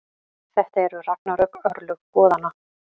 Þetta eru ragnarök, örlög goðanna.